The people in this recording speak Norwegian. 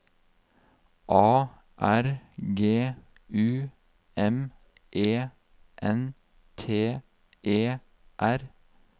A R G U M E N T E R